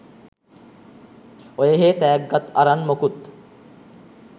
ඔයහේ තෑග්ගත් අරන් මොකුත්